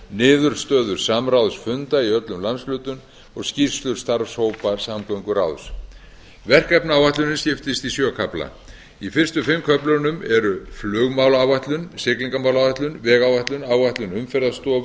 niðurstöður samráðs funda í öllum landshlutum og skýrslur starfshópa samgönguráðs verkefnaáætlunin skiptist í sjö kafla í fyrstu fimm köflunum eru flugmálaáætlun siglingamálaáætlun vegáætlun áætlun umferðarstofu